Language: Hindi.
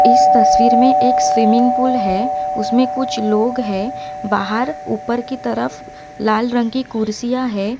इस तस्वीर मे एक स्विमिंग पूल है उसमें कुछ लोग हैं बाहर ऊपर की तरफ लाल रंग की कुर्सियां है।